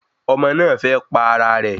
Ọmọ náà fẹ́ pa ara rẹ̀